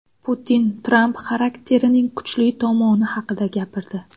Putin Tramp xarakterining kuchli tomoni haqida gapirdi.